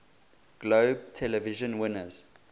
globe television winners